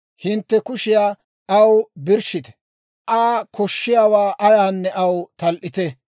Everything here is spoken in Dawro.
Hintte kushiyaa aw birshshite; Aa koshshiyaawaa ayaanne aw tal"ite.